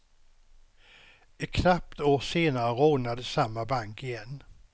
Ett knappt år senare rånades samma bank igen.